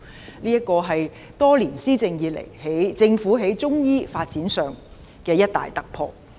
這是政府多年施政以來在中醫發展上的一大突破。